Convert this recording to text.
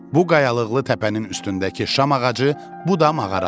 Bu qayalıqlı təpənin üstündəki şam ağacı, bu da mağaradır.